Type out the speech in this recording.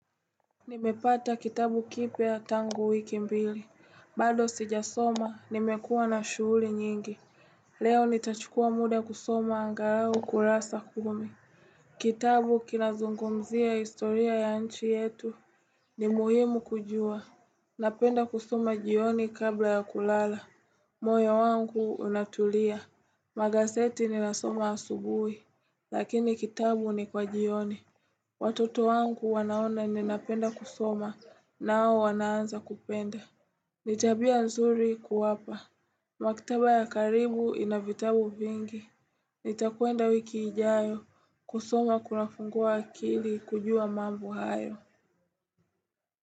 Nimepata kitabu kipya tangu wiki mbili, bado sijasoma nimekuwa na shughuli nyingi Leo nitachukua muda kusoma angalau kurasa kumi Kitabu kinazungumzia historia ya nchi yetu ni muhimu kujua Napenda kusoma jioni kabla ya kulala, moyo wangu unatulia Magazeti ninasoma asubuhi lakini kitabu ni kwa jioni Watoto wangu wanaona ninapenda kusoma nao wanaanza kupenda. Ni tabia nzuri kuwapa. Maktaba ya karibu ina vitabu vingi. Nitakwenda wiki ijayo kusoma kunafungua akili kujua mambo hayo.